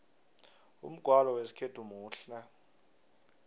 umgwalo wesikhethu muhle